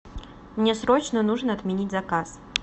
мне срочно нужно отменить заказ